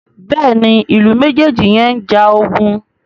Béèni Ilú mejeji yén njà ogun.